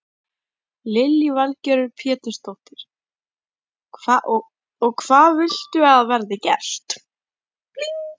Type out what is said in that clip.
Lillý Valgerður Pétursdóttir: Og hvað viltu að verði gert?